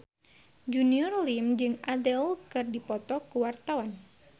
Junior Liem jeung Adele keur dipoto ku wartawan